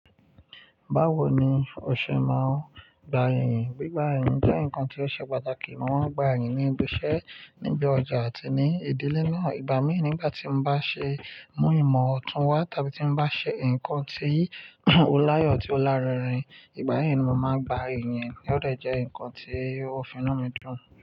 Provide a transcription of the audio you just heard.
Báwo ni o ṣe máa ń gba irin? Gbigba irin jẹ́ nǹkan tí ó ṣe pàtàkì. Mo máa ń gba ìyìn ní ibi iṣẹ́, níbi ọjà àti ní ìdílé náà. Ìgbà mí nígbà tí mo bá ṣe mú ìmọ̀ ọ̀tún wá tàbí tí mo bá ṣe nǹkan tí ó láyọ̀, tí ó lárinrin, ìgbà yẹn ni màá gba ìyìn tí ó dẹ̀ jẹ́ nǹkan tí ó fi inú dídùn.